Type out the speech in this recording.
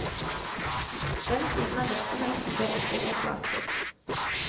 Den siden av virksomheten bør ikke forflates.